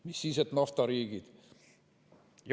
Mis siis, et need on naftariigid.